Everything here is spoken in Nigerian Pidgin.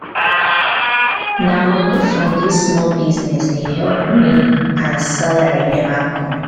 na moni from dis small business dey help me as salary neva come.